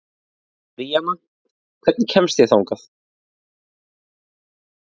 Bríanna, hvernig kemst ég þangað?